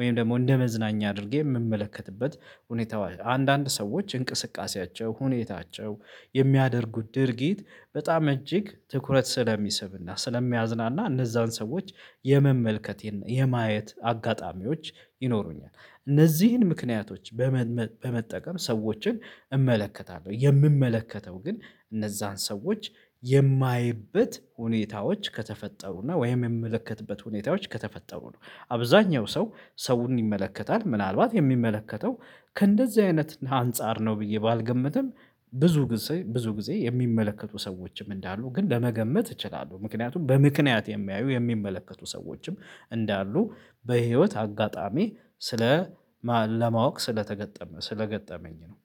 ወይም ደግሞ እንደ መዝናኛ አድርጌ እምመለከትበት ሁኔታ አንዳንድ ሰዎች እንቅስቃሴያቸው ሁኔታቸው የሚያደርጉት ድርጊት በጣም እጅግ ትኩረት ስለሚስብና ስለሚያዝናና እነዛን ሰዎች የመመልከት የማየት አጋጣሚዎች ይኖሩኛል። እነዚህን ምክንያቶች በመጠቀም ሰዎችን እመለከታለሁ የእምመለከተው ግን እነዛን ሰዎች የማይበት ሁኔታዎች ከተፈጠሩና ወይም የእምመለከትበት ሁኔታዎች ከተፈጠሩ ነው። አብዛኛው ሰው ሰውን ይመለከታል ምናልባት የእሚመለከተው ከእንደዚህ አይነት አንፃር ነው ብዬ ባልገምትም ብዙ ጊዜ ብዙ ጊዜ የእሚመለከቱ ሰዎችም እንዳሉ ግን ለመገመት እችላለሁ። ምክንያቱም በምክንያት የሚያዩ የእሚመለከቱ ሰዎችም እንዳሉ በህይወት አጋጣሚ ስለ ለማወቅ ስለገጠመኝ ነው